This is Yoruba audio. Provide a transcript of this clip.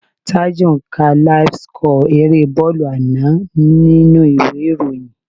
Taju ń ka láíf síkọ̀ erée bọ́ọ̀lù àná nínú ìwé ìròyìn